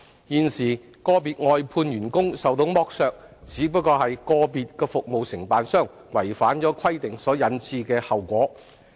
現時個別外判員工受到剝削，只是個別服務承辦商違反規定所引致的後果。